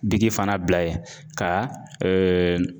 Digi fana bila ye ka